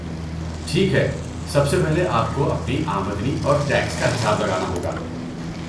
ٹھیک ہے، سب سے پہلے آپ کو اپنی آمدنی اور ٹیکس کا حساب لگانا ہوگا۔